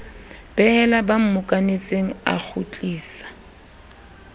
behela ba mmokanetseng a kgutlisa